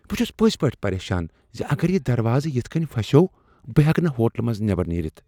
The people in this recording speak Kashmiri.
بہٕ چھس پٔزۍ پٲٹھۍ پریشان ز اگر یہٕ دروازٕ یِتھ کٔنۍ پھسیوٚو بہٕ ہیٚکہٕ نہٕ ہوٹلہٕ منٛز نیبر نٮ۪رِتھ ۔